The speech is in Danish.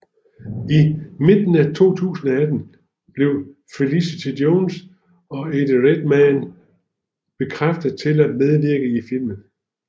I midten af 2018 blev Felicity Jones og Eddie Redmayne bekræftet til at medvirke i filmen